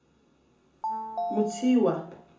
motshiwa